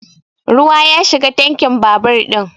Ruwa ya shiga tankin babur ɗin